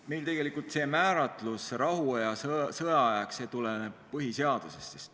Meil tegelikult see määratlus – rahuaeg ja sõjaaeg – tuleneb põhiseadusest.